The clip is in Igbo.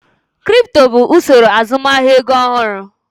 Kripto bụ usoro azụmahịa ego ọhụrụ.